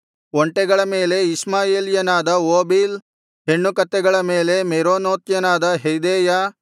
ಒಂಟೆಗಳನ್ನು ಇಷ್ಮಾಯೇಲ್ಯನಾದ ಓಬೀಲ್ ಹೆಣ್ಣುಕತ್ತೆಗಳನ್ನು ಮೇರೊನೋತ್ಯನಾದ ಯೆಹ್ದೆಯ